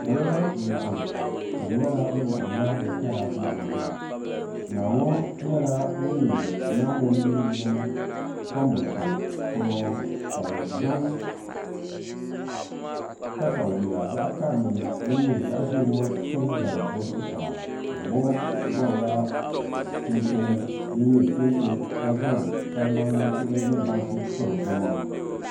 Salo n laɣam ka di nyɛla bi laɣamla bi kaya laɣangu naa ŋo nyɛla ŋun nyɛ naa ŋun yina anbonsi polo ŋo ka bi zaŋ katawiya zaɣ karili din nyɛ zaɣ ʒiɛ ŋo to n zali o zuɣusaa naa ŋo gabila chinchin din nyɛ kɛntɛ ka zaŋ salima nintuhi ni bansi n piri o maŋa